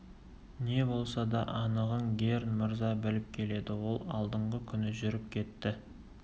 не болса да анығын герн мырза біліп келеді ол алдыңғы күні жүріп кетті